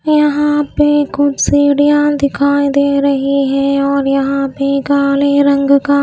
यहां पे कुछ सीढ़ियां दिखाई दे रही है और यहां भी काले रंग का --